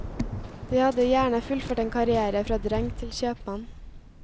De hadde gjerne fullført en karriere fra dreng til kjøpmann.